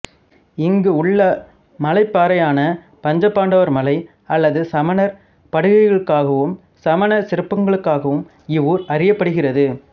இங்கு உள்ள மலைப்பாறையான பஞ்சபாண்டவர் மலை அல்லது சமணர் படுகைகளுக்காகவும் சமணச் சிற்பங்களுக்காகவும் இவ்வூர் அறியப்படுகிறது